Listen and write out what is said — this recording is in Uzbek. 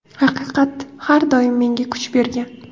Haqiqat har doim menga kuch bergan.